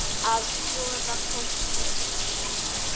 Að skoða fólkið.